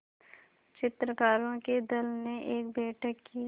चित्रकारों के दल ने एक बैठक की